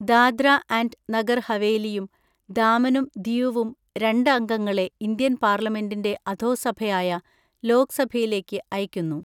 Dadra and Nagar ഹവേലിയും ദാമനും ദിയുവും രണ്ട് അംഗങ്ങളെ ഇന്ത്യൻ പാർലമെന്റിന്റെ അധോസഭയായ ലോക്‌സഭയിലേക്ക് അയയ്ക്കുന്നു.